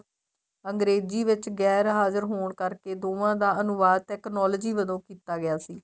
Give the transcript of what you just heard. ਅੰਗਰੇਜੀ ਵਿੱਚ ਗੇਰ ਹਜ਼ਾਰ ਹੋਣ ਕਰਕੇ ਦੋਵਾਂ ਦਾ ਅਨੁਵਾਦ technology ਵਜੋਂ ਕੀਤਾ ਗਿਆ ਸੀ